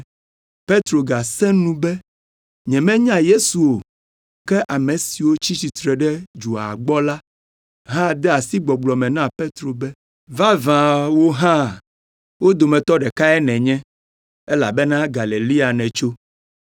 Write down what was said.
Petro gasẽ nu be yemenya Yesu o! Ke ame siwo tsi tsitre ɖe dzoa gbɔ la hã de asi gbɔgblɔ me na Petro be, “Vavã, wò hã wo dometɔ ɖekae nènye elabena Galilea nètso!”